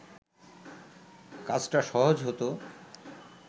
কাজটা সহজ হতো